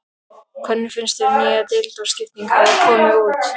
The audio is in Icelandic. Hvernig finnst þér nýja deildarskiptingin hafa komið út?